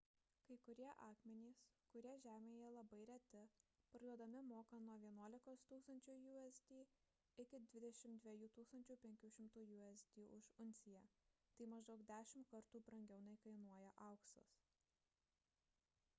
kai kurie akmenys kurie žemėje labai reti parduodami mokant nuo 11 000 usd iki 22 500 usd už unciją tai maždaug dešimt kartų brangiau nei kainuoja auksas